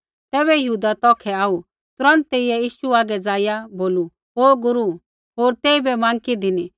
ज़ैबै यहूदा तौखै आऊ तुरन्त तेइयै यीशु हागै ज़ाइआ बोलू ओ गुरू होर तेइबै माँकी धिनी